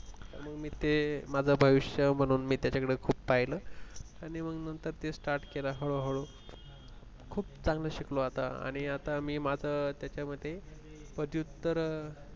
म्हणून मी ते माझं भविष्य म्हणून त्याच्याकडे खूप पाहिलं आणी मग ते नंतर start केलं हळूहळू खूप चांगलं शिकलो आणि आता म्हणून मी आता त्याच्यामध्ये ते पदव्युत्तर